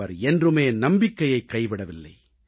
அவர் என்றுமே நம்பிக்கையைக் கைவிடவில்லை